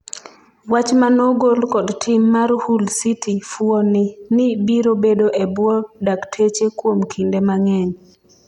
wach manogol kod tim mar Hull City ,fuoni ni biro bedo e bwo dakteche kuom kinde mang'eny,